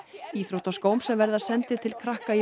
íþróttaskóm sem verða sendir til krakka í